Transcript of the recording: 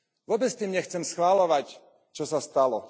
Vôbec tým nechcem schvaľovať, čo sa stalo.